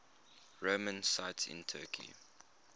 roman sites in turkey